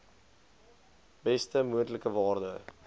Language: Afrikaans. beste moontlike waarde